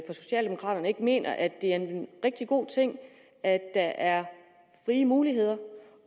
socialdemokraterne ikke mener at det er en rigtig god ting at der er frie muligheder